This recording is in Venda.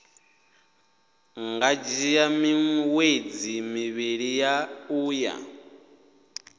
nga dzhia miṅwedzi mivhili uya